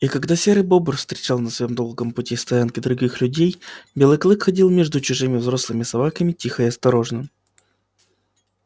и когда серый бобр встречал на своём долгом пути стоянки других людей белый клык ходил между чужими взрослыми собаками тихо и осторожно